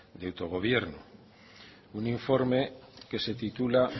de autogobierno un informe que se titula